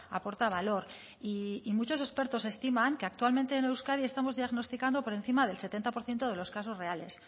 aporta valor y muchos expertos estiman que actualmente en euskadi estamos diagnosticando por encima del setenta por ciento de los casos reales